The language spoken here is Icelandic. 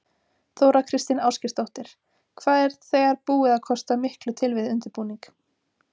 Þóra Kristín Ásgeirsdóttir: Hvað er þegar búið að kosta miklu til við undirbúning?